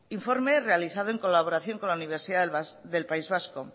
informe realizado en colaboración con la universidad del país vasco